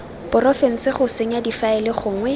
porofense go senya difaele gongwe